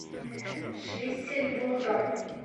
шлиссельбургом